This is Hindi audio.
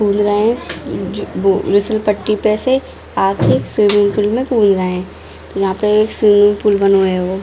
कूद रहे हैं जो वो फिसल पट्टी पे से आ के स्विमिंग पूल में कूद रहे हैं | यहाँ पे एक स्विमिंग पूल बनो हैगो ।